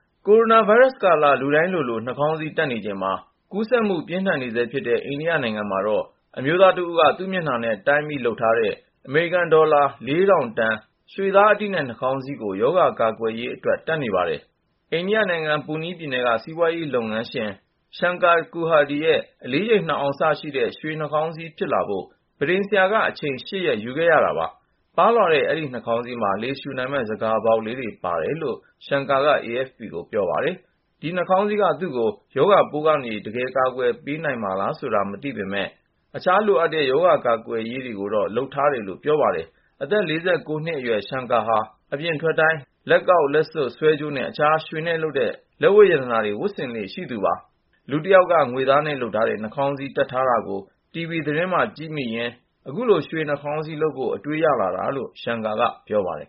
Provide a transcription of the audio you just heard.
ကိုရိုနာဗိုင်းရပ်စ်ကာလ လူတိုင်းလိုလို နှာခေါင်းစည်းတပ်နေချိန်မှာ ကူးစက်မှု ပြင်းထန်နေဆဲဖြစ်တဲ့ အိန္ဒိယနိုင်ငံမှာတော့ အမျိုးသားတဦးက သူ့မျက်နှာနဲ့ တိုင်းပြီး လုပ်ထားတဲ့ အမေရိကန်ဒေါ်လာ ၄,၀၀၀ တန် ရွှေသားအတိနဲ့ နှာခေါင်းစည်းကို ရောဂါကာကွယ်ရေးအတွက် တပ်နေပါတယ်။ အိန္ဒိယနိုင်ငံ ပူနီးပြည်နယ်က စီးပွားရေးလုပ်ငန်းရှင် Shankar Kurhade ရဲ့ အလေးချိန် ၂ အောင်စရှိတဲ့ ရွှေနှာခေါင်းစည်း ဖြစ်လာဖို့ ပန်းထိမ်ဆရာက အချိန် ၈ ရက် ယူခဲ့ရတာပါ။ ပါးလွှာပြီး နှာခေါင်းစည်းမှာ လေရှူနိုင်မယ့် ဆန်ခါပေါက်လေးတွေ ပါတယ်လို့ Shankar က AFP ကို ပြောပါတယ်။ ဒီ ရွှေနှာခေါင်းစည်းက သူ့ကို ရောဂါပိုးကနေ တကယ်ပဲ ကာကွယ်ပေးနိုင်မှာလားဆိုတာ သေချာမသိပေမယ့် သူကတော့ အခြားလိုအပ်တဲ့ ရောဂါကာကွယ်ရေးတွေကိုလည်း လုပ်ထားပါတယ်လို့ ပြောပါတယ်။ အသက် ၄၉ နှစ်အရွယ် Shankar ဟာ အပြင်ထွက်တိုင်း လက်ကောက် လက်စွပ် ဆွဲကြိုးနဲ့ အခြား ရွှေနဲ့လုပ်တဲ့ လက်ဝတ်ရတနာတွေ ဝတ်ဆင်လေ့ရှိတာပါ။ လူတယောက်က ငွေနဲ့လုပ်ထားတဲ့ နှာခေါင်းစည်းတပ်ထားတာကို တီဗွီသတင်းမှာ ကြည့်မိရင်း အခုလို ရွှေနှာခေါင်းစည်းလုပ်ဖို့ အတွေးရလာတာလို့ Shankar က ပြောပါတယ်